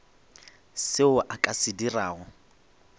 seo a ka se dirago